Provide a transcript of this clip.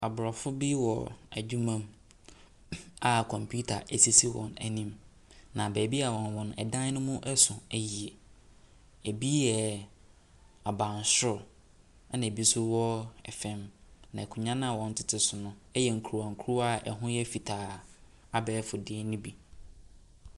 Abrɔfo bi wɔ adwuma mu a computer esisi wɔanim. Na baabi a ɔwɔ no ɛdan no mu ɛso ɛye. Ebi yɛ abansoro, ɛna ebi ɛnso wɔ ɛfam. Na nkonwa na wɔtete so no ɛyɛ nkurankura ɛho yɛ fitaa abɛɛfo de no bi.